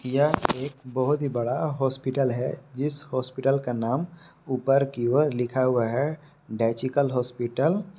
यह एक बहोत ही बड़ा हॉस्पिटल है जिस हॉस्पिटल का नाम ऊपर की ओर लिखा हुआ है डायचिअल हॉस्पिटल